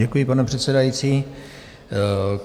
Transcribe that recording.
Děkuji, pane předsedající.